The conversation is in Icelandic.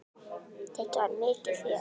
Þetta var mikið fjör.